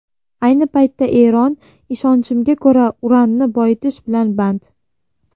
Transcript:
Ayni paytda Eron, ishonchimga ko‘ra, uranni boyitish bilan band.